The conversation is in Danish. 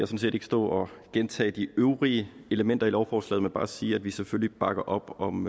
set ikke stå og gentage de øvrige elementer i lovforslaget men bare sige at vi selvfølgelig bakker op om